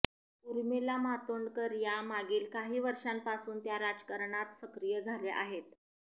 ऊर्मिला मातोंडकर या मागील काही वर्षांपासून त्या राजकारणात सक्रिय झाल्या आहेत